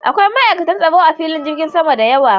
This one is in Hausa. Akwai ma'aikata tsaro a filin jirgin sama da yawa